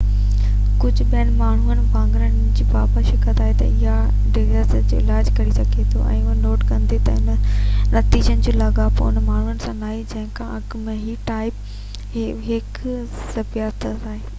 ڪجهہ ٻين ماهرن وانگر هي ان بابت شڪ ۾ آهي تہ آيا ذيابطيس جو علاج ڪري سگهجي ٿو اهو نوٽ ڪندي تہ انهن نتيجن جو لاڳاپو انهن ماڻهن سان ناهي جنهن کان اڳ ۾ ئي ٽائپ 1 جي ذيابطيس آهي